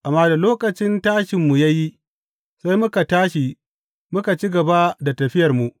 Amma da lokacin tashinmu ya yi, sai muka tashi muka ci gaba da tafiyarmu.